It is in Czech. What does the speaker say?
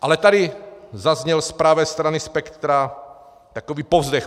Ale tady zazněl z pravé strany spektra takový povzdech.